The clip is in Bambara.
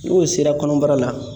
N'o sera kɔnɔbara la